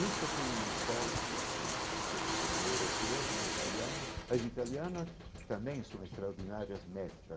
Isso foi uma escola extraordinária, que eu como europeu, como italiano, as italianas também são extraordinárias mestra.